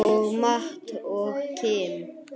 Og Matt og Kim?